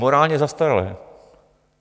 Morálně zastaralé.